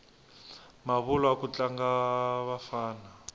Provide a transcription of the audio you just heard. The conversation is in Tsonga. mavulwa ku tlanga vafana